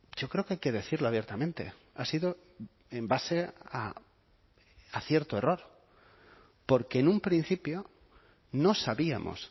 yo creo que hay que decirlo abiertamente ha sido en base a acierto error porque en un principio no sabíamos